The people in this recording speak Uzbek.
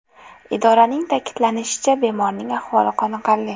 Idoraning ta’kidlashicha, bemorning ahvoli qoniqarli.